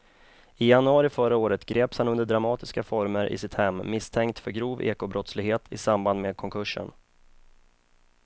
I januari förra året greps han under dramatiska former i sitt hem misstänkt för grov ekobrottslighet i samband med konkursen.